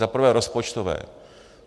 Za prvé rozpočtové.